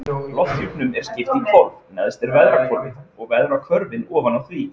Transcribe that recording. Lofthjúpnum er skipt í hvolf, neðst er veðrahvolfið og veðrahvörfin ofan á því.